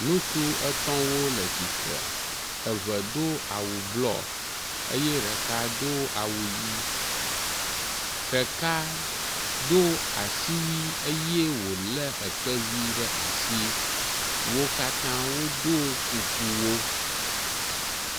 ŋutsu etɔ̃wo le tsitre eve dó awu blɔ eye ɖeka do awu yi ɖeka dó asiwui eye wole ekpevi ɖasi wókatã wodó kukuwo